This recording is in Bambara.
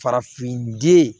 Farafin den